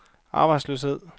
arbejdsløshed